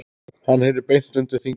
Hann heyri beint undir þingið.